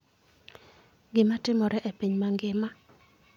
gi ma timore e piny mangima